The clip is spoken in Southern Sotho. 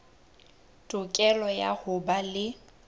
tokelo ya ho ba le